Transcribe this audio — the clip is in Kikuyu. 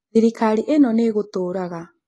Thirikari ĩno nĩ igũtũũraga.